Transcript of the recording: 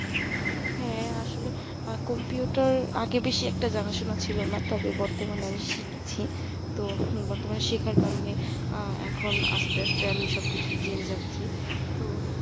হ্যাঁ আসলে computer আগে বেশি একটা জানাশোনা ছিল না তবে বর্তমানে আমি শিখছি তো বর্তমানে শেখার কারণে আহ এখন আস্তে আস্তে আমি সব কিছুই জেনে যাচ্ছি তো